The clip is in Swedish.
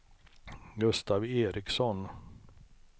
Gustav Ericson